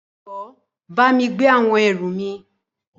Jọwọ bámi gbé àwọn ẹrù mi.